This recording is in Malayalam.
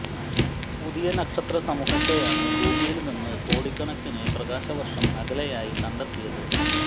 പുതിയ നക്ഷത്ര സമൂഹത്തെയാണ് ഭൂമിയില് നിന്ന് കോടിക്കണക്കിന് പ്രകാശ വര്ഷം അകലെയായി കണ്ടെത്തിയത്